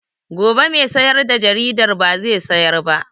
Gobe mai sayar da jaridar ba zai sayar ba